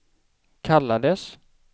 kallades